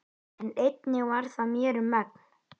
En einnig það varð mér um megn.